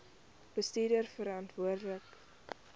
bestuurverantwoordbare